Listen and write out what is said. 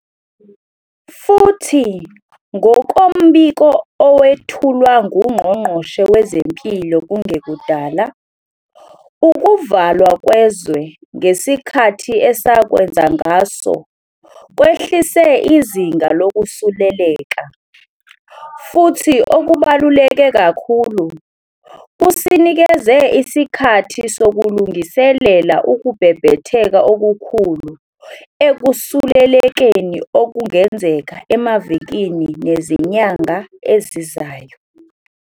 Futhi ngokombiko owethulwa nguNgqongqoshe Wezempilo kungekudala, ukuvalwa kwezwe ngesikhathi esakwenza ngaso kwehlise izinga lokusuleleka, futhi okubaluleke kakhulu, kusinikeze isikhathi sokulungiselela ukubhebhetheka okukhulu ekusulelekeni okungenzeka emavikini nezinyanga ezizayo.